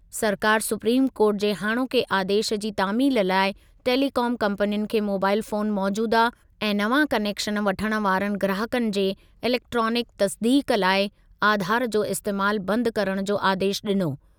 सरकारि सुप्रीम कोर्टु जे हाणोके आदेशु जी तामील लाइ टेलीकॉम कंपनियुनि खे मोबाइल फोन मौजूदा ऐं नवां कनेक्शन वठण वारनि ग्राहकनि जे इलेक्ट्रॉनिक तसदीक़ लाइ आधार जो इस्तेमालु बंदि करणु जो आदेश ॾिनो।